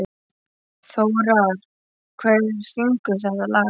Þórar, hver syngur þetta lag?